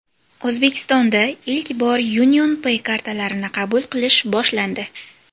O‘zbekistonda ilk bor UnionPay kartalarini qabul qilish boshlandi.